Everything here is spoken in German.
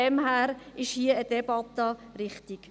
Daher ist eine Debatte hier richtig.